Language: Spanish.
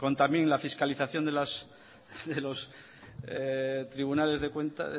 la fiscalización de los tribunales de